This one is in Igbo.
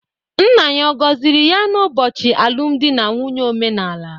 Nna ya ọ̀ gọziri ya n'ụbọchị alụmdi na nwunye omenala?